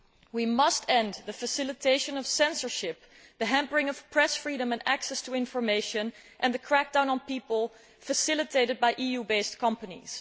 We must end the facilitation of censorship, the hampering of press freedom and access to information, and the crackdown on people facilitated by EU based companies.